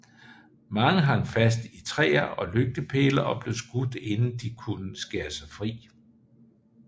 Mange hang fast i træer og lygtepæle og blev skudt inden de kunne skære sig fri